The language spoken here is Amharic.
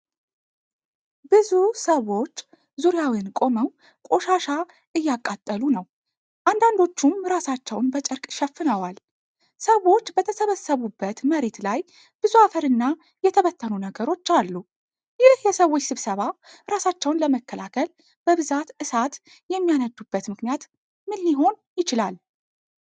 ብዙ ሰዎች ዙሪያውን ቆመው ቆሻሻ እያቃጠሉ ነው፤ አንዳንዶቹም ራሳቸውን በጨርቅ ሸፍነዋል። ሰዎች በተሰበሰቡበት መሬት ላይ ብዙ አፈርና የተበተኑ ነገሮች አሉ። ይህ የሰዎች ስብስብ ራሳቸውን ለመከላከል በብዛት እሳት የሚያነዱበት ምክንያት ምን ሊሆን ይችላል?